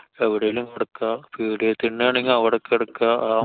എവിടേലും കെടക്കാ. പീടിക തിണ്ണാണെങ്കി അവടെ കെടക്കാ. ആ